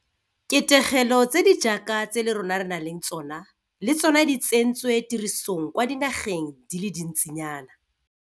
ketegelo tse di jaaka tse le rona re nang le tsona le tsona di tsentswe tirisong kwa dinageng di le dintsinyana.